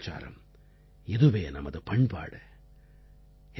இதுவே நமது கலாச்சாரம் இதுவே நமது பண்பாடு